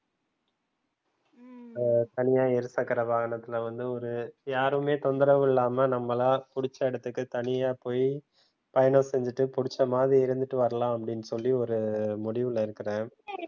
ஹம் தனியா இருசக்கர வாகனத்துல வந்து ஒரு யாருமே தொந்தரவு இல்லாம நம்மளா புடிச்ச இடத்துக்கு தனியா போய் பயணம் செஞ்சிட்டு புடிச்ச மாதிரி இருந்துட்டு வரலாம் அப்டின்னு சொல்லி ஒரு முடிவுல இருக்குறேன்